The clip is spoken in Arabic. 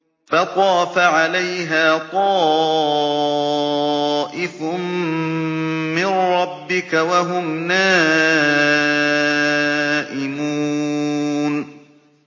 فَطَافَ عَلَيْهَا طَائِفٌ مِّن رَّبِّكَ وَهُمْ نَائِمُونَ